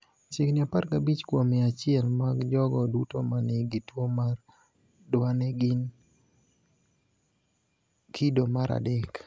Chiegni 15 kuom mia achiel mag jogo duto ma nigi tuwo mar Duane gin kido mar 3.